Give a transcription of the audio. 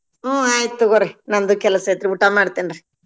ಹ್ಮ್‌ ಆಯ್ತ್ ನಂದು ಕೆಲಸೈತ್ರಿ ಊಟ ಮಾಡ್ತೇನ್ರಿ.